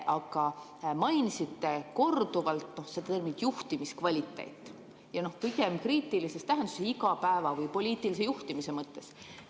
Aga mainisite korduvalt terminit "juhtimiskvaliteet" ja pigem kriitilise tähendusega, igapäeva‑ või poliitilise juhtimise mõttes.